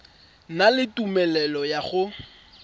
na le tumelelo ya go